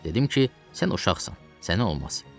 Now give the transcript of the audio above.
Dedim ki, sən uşaqsan, sənə olmaz.